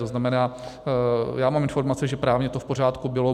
To znamená, já mám informace, že právně to v pořádku bylo.